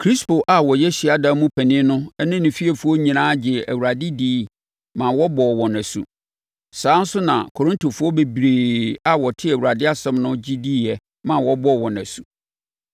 Krispo a na ɔyɛ hyiadan mu panin no ne ne fiefoɔ nyinaa gyee Awurade diiɛ maa wɔbɔɔ wɔn asu. Saa ara nso na Korintofoɔ bebree a wɔtee Awurade asɛm no nso gye diiɛ maa wɔbɔɔ wɔn asu.